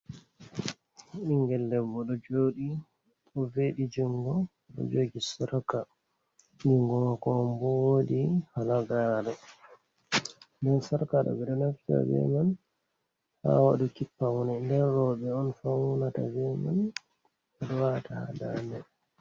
Ɓingel debbo ɗo joɗi ɗo veɗi jungo ɗo jogi sarka jungo mako manbo wodi hala gaare, nden sarka ɗo ɓeɗo naftira ɓe man ha waɗuki paune ɗen roɓɓe on faunata bee man ɓeɗo wata ha dande.